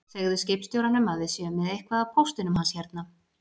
Segðu skipstjóranum að við séum með eitthvað af póstinum hans hérna